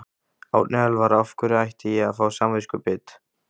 Árni Elvar: Af hverju ætti ég að fá samviskubit?